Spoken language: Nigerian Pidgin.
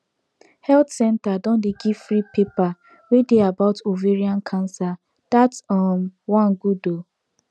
health centre don dey give free paper wey dey about ovarian cancer that um one good ooo